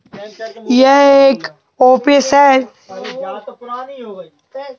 यह एक ऑफिस है।